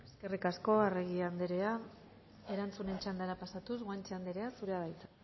eskerrik asko arregi anderea erantzunen txandara guanche anderea zurea da hitza